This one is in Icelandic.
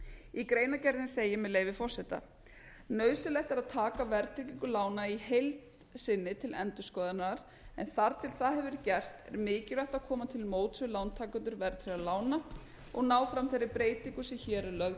í greinargerðinni segir með leyfi forseta nauðsynlegt er að taka verðtryggingu lána í heild sinni til endurskoðunar en þar til það hefur verið gert er mikilvægt að koma til móts við lántakendur verðtryggðra lána og ná fram þeirri breytingu sem hér er lögð